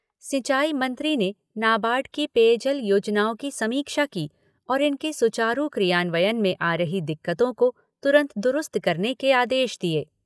सिंचाई मंत्री ने नाबार्ड की पेयजल योजनाओं की समीक्षा की और इनके सुचारू क्रियान्वयन में आ रही दिक्कतों को तुरंत दुरुस्त करने के आदेश दिए।